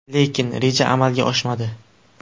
Lekin, reja amalga oshmadi.